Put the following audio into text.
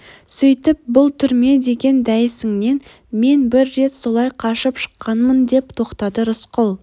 сөйтіп бұл түрме деген дәйісіңнен мен бір рет солай қашып шыққанмын деп тоқтады рысқұл